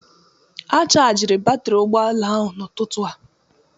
A shargi batri ụgbọala ahụ n'ụtụtụ a